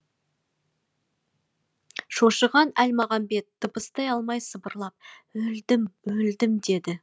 шошыған әлмағамбет дыбыстай алмай сыбырлап өлдім өлдім деді